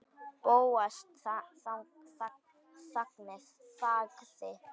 Bóas þagði.